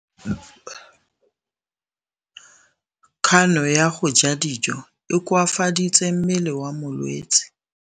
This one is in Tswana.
Kganô ya go ja dijo e koafaditse mmele wa molwetse.